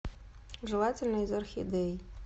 желательно из орхидей